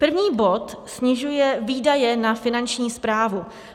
První bod snižuje výdaje na Finanční správu.